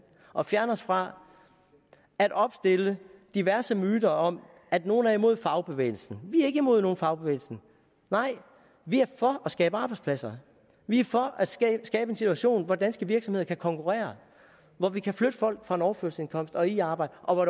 og fjerne os fra at opstille diverse myter om at nogle er imod fagbevægelsen vi er ikke imod nogen fagbevægelse nej vi er for at skabe arbejdspladser vi er for at skabe en situation hvor danske virksomheder kan konkurrere hvor vi kan flytte folk fra en overførselsindkomst og i arbejde og